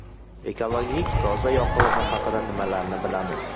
Ekologik toza yoqilg‘i haqida nimalarni bilamiz?